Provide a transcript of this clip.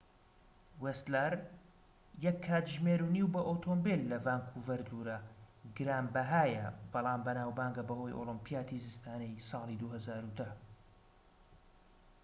ویستلەر 1.5 کاتژمێر بە ئۆتۆمبێل لە ڤانکوڤەر دوورە گرانبەھایە بەڵام بەناوبانگە بەهۆی ئۆلیمپیاتی زستانەی ساڵی 2010